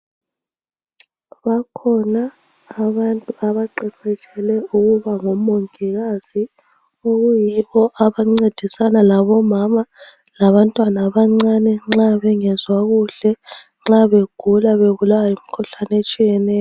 Bakhona abantu abaqeqetshele ukuba ngomongikazi okuyibo abancedisana labomama labantwana abancane nxa bengezwa kuhle nxa begula bebulawa yimkhuhlane etshiyeneyo .